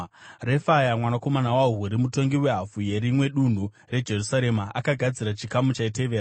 Refaya mwanakomana waHuri, mutongi wehafu yerimwe dunhu reJerusarema, akagadzira chikamu chaitevera.